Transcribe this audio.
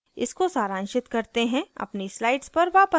इसको सारांशित करते हैं अपनी slides पर वापस आते हैं